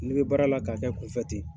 N'i bɛ baara la k'a kɛ kunfɛ ten,